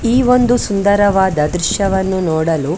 ಈ ಒಂದು ಸುಂದರವಾದ ದೃಶ್ಯವನ್ನು ನೋಡಲು --